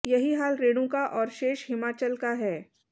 यही हाल रेणुका और शेष हिमाचल का है